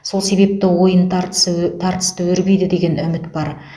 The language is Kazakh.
сол себепті ойын тартысы ө тартысты өрбиді деген үміт бар